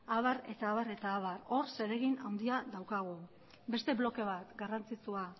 abar eta abar hor zeregin handia daukagu beste bloke bat garrantzitsua